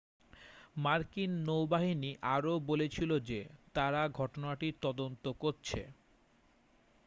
মার্কিন নৌবাহিনী আরও বলেছিল যে তারা ঘটনাটির তদন্ত করছে